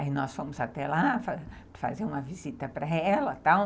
Aí nós fomos até lá fazer uma visita para ela e tal.